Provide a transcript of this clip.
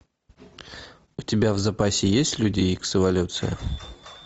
у тебя в запасе есть люди икс эволюция